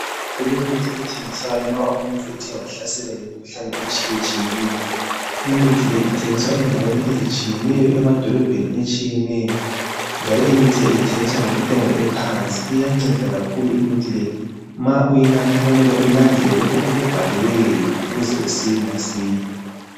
Kulemithi ethengiswayo ma umuntu ethe wahlaselwa yimkhuhlane etshiyatshiyeneyo. Imithi le ithengiswa endaweni ezitshiyeneyo, emadolobheni atshiyeneyo. Njalo imithi le ithengiswa ngentengo ephansi. Iyanceda kakhulu imithi le. Ma uyinatha kuyamele ulandele lokho okubhaliweyo ukuze usile masinya.